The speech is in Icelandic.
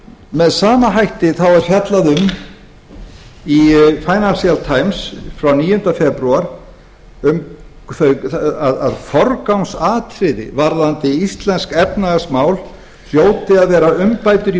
með sama hætti er fjallað um í financial times frá níunda febrúar að forgangsatriði varðandi íslensk efnahagsmál hljóti að vera umbætur í